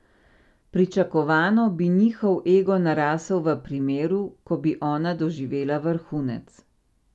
Pričakovano bi njihov ego narasel v primeru, ko bi ona doživela vrhunec.